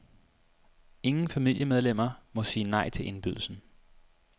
Ingen familiemedlemmer må sige nej til indbydelsen.